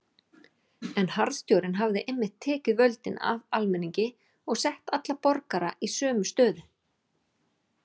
En harðstjórnin hafði einmitt tekið völdin af almenningi og sett alla borgara í sömu stöðu.